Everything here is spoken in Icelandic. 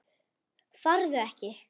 Farðu ekki.